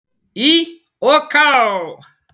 Í OK!